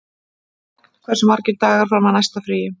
Fregn, hversu margir dagar fram að næsta fríi?